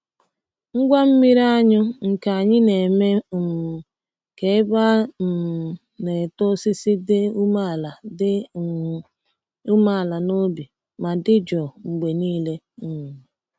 Ngwa mmiri anyụ nke anyị na-eme um ka ebe a um na-eto osisi dị umeala dị umeala n’obi ma dị jụụ mgbe niile. um